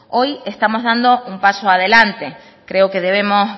hoy estamos dando un paso adelante creo que debemos